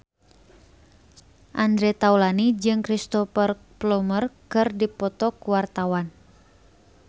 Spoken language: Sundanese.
Andre Taulany jeung Cristhoper Plumer keur dipoto ku wartawan